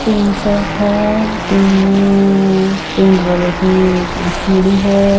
Tin set है tin में paint वालों की सीढ़ी है।